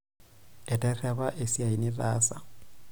Eterrepa esiai nitaasa.